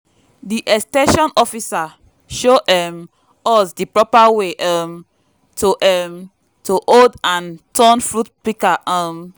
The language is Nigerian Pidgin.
di ex ten sion officer show um us di propa way um to um to hold and turn fruit pika um